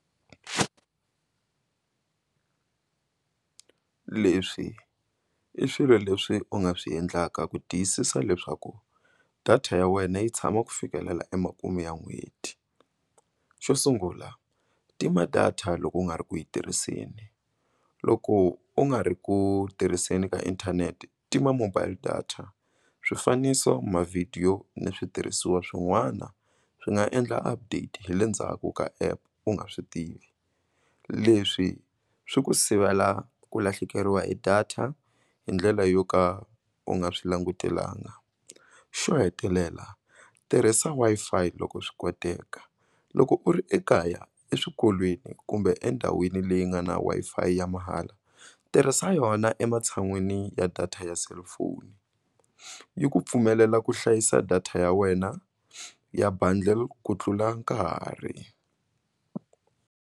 Leswi i swilo leswi u nga swi endlaka ku tiyisisa leswaku data ya wena yi tshama ku fikelela emakumu ya n'hweti xo sungula tima data loko u nga ri ku yi tirhiseni loko u nga ri ku tirhiseni ka inthanete tima mobile data swifaniso mavhidiyo ni switirhisiwa swin'wana swi nga endla update hi le ndzhaku ka app u nga swi tivi leswi swi ku sivela ku lahlekeriwa hi data hi ndlela yo ka u nga swi langutelanga xo hetelela tirhisa Wi-Fi loko swi koteka loko u ri ekaya eswikolweni kumbe endhawini leyi nga na Wi-Fi ya mahala tirhisa yona ematshan'wini ya data ya cellphone yi ku pfumelela ku hlayisa data ya wena ya bundle ku tlula nkarhi.